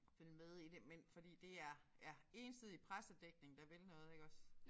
Følge med i det men fordi DR ja ensidig pressedækning der vil noget iggås